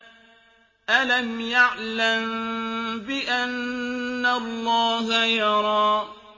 أَلَمْ يَعْلَم بِأَنَّ اللَّهَ يَرَىٰ